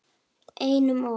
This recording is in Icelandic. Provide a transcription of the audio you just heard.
Einum of